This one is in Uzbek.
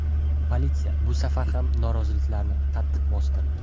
Politsiya bu safar ham noroziliklarni qattiq bostirdi.